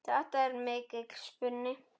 Þetta er mikill spuni.